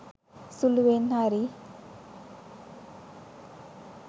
සුළුවෙන් හරි